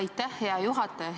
Aitäh, hea juhataja!